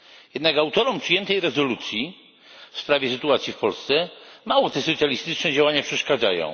Jednak autorom przyjętej rezolucji w sprawie sytuacji w Polsce mało te socjalistyczne działania przeszkadzają.